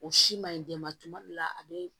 O si ma ɲi den ma tuma min na a be